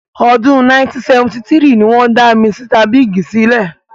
Ọdún 1973 ni wọ́n dá Misita Bíìgì sílẹ̀.